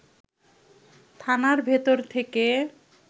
থানার ভেতর থেকে